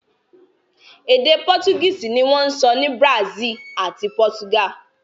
Èdè Pọ́tugíìsì ní wọ́n ń ṣọ́ ní Brazil àti Portugal